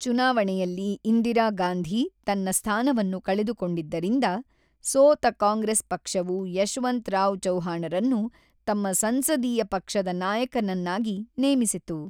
ಚುನಾವಣೆಯಲ್ಲಿ ಇಂದಿರಾ ಗಾಂಧಿ ತನ್ನ ಸ್ಥಾನವನ್ನು ಕಳೆದುಕೊಂಡಿದ್ದರಿಂದ, ಸೋತ ಕಾಂಗ್ರೆಸ್ ಪಕ್ಷವು ಯಶವಂತರಾವ್ ಚೌಹಾಣರನ್ನು ತಮ್ಮ ಸಂಸದೀಯ ಪಕ್ಷದ ನಾಯಕನನ್ನಾಗಿ ನೇಮಿಸಿತು.